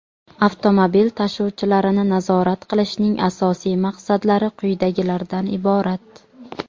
avtomobil tashuvlarini nazorat qilishning asosiy maqsadlari quyidagilardan iborat:.